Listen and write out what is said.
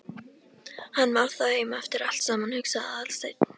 Hann var þá heima eftir allt saman, hugsaði Aðalsteinn.